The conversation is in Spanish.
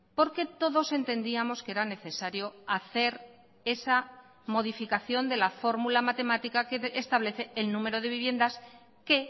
porque todos entendíamos que era necesario hacer esa modificación de la fórmula matemática que establece el número de viviendas que